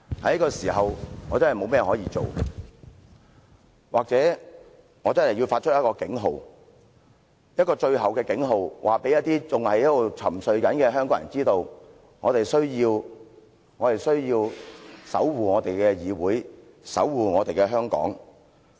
在這個時候，我確實沒有甚麼可以做，或者我真的要發出警號，一個最後的警號，告知那些仍在沉睡的香港人，需要守護我們的議會和香港。